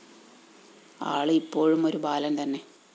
ആള് ഇപ്പോഴും ഒരു ബാലന്‍ തന്നെ